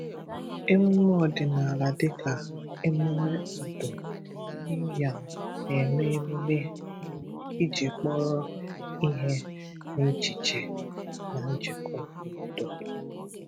Emume ọdị̀nàlà dịka emume Ọ̀dù New Yam na-eme emume emume iji kporọ ihe n’echiche na njikọ obodo.